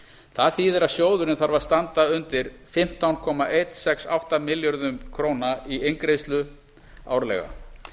það þýðir að sjóðurinn þarf að standa undir fimmtán komma einum sex átta milljörðum króna í inngreiðslu árlega